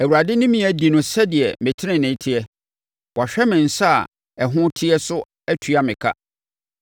Awurade ne me adi no sɛdeɛ me tenenee teɛ; wahwɛ me nsa a ɛho teɛ so atua me ka.